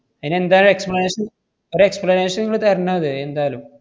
അയിനെന്താണൊരു explanation? ഒര് explanation ~ങ്ങള് തരണം അത്, എന്തായാലും.